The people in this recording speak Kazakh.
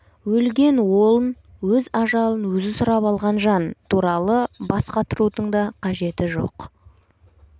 өлген уолн өз ажалын өзі сұрап алған жан туралы бас қатырудың да қажеті жоқ